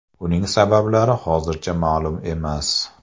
Uning sabablari hozircha ma’lum emas.